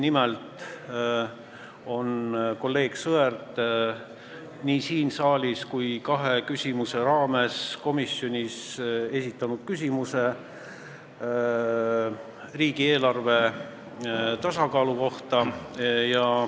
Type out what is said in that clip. Nimelt on kolleeg Sõerd nii siin saalis kui kahe küsimuse raames ka komisjonis esitanud küsimusi riigieelarve tasakaalu kohta.